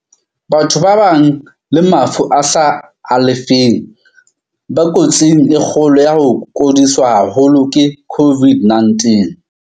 Karabo. Batho ba nang le mafu a sa alafeheng ba ko tsing e kgolo ya ho kodiswa haholo ke COVID-19.